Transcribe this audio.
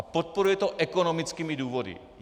A podporuje to ekonomickými důvody.